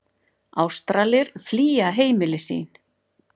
Ástralir flýja heimili sín